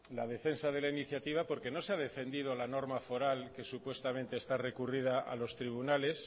la defensa de la iniciativa porque no se ha defendido la norma foral que supuestamente está recurrida a los tribunales